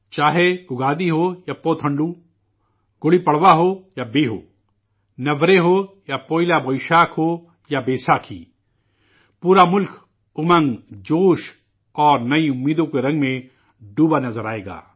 چاہے اگادی ہو یا پوتھنڈو، گڑی پڑوا ہو یا بیہو، نورہ ہو یا پوئیلا، یا پھر بوئیشاکھ ہو یا بیساکھی پورا ملک ، امنگ، جوش اور نئی امیدوں کے رنگ میں شرابور نظر آئے گا